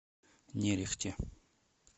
нерехте